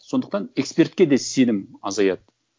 сондықтан экспертке де сенім азаяды